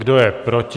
Kdo je proti?